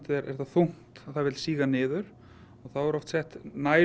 er það þungt að það vill síga niður og þá er oft sett